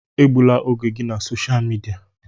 Egbula oge gị na sosha midia!